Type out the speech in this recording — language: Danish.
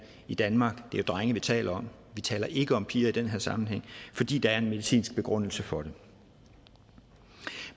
i danmark det er drenge vi taler om vi taler ikke om piger i den her sammenhæng fordi der er en medicinsk begrundelse for det